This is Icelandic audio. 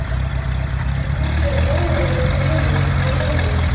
Hún horfði óörugg á Lillu.